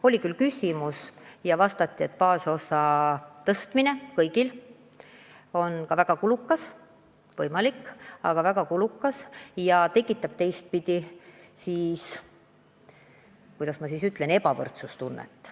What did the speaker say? Oli küll selleteemaline küsimus ja vastati, et baasosa suurendamine kõigil on võimalik, aga väga kulukas ja tekitab ka teistpidi ebavõrdsustunnet.